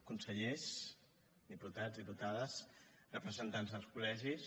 consellers diputats diputades representants dels col·legis